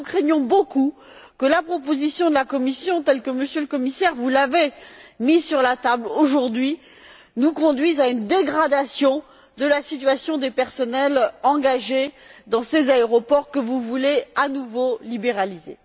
Nous craignons beaucoup que la proposition de la Commission, telle que Monsieur le Commissaire, vous l'avez mise sur la table aujourd'hui, nous conduise à une dégradation de la situation des personnels engagés dans ces aéroports que vous voulez à nouveau libéraliser.